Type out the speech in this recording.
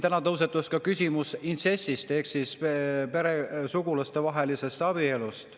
Täna tõusetus ka küsimus intsestist ehk veresugulaste abielust.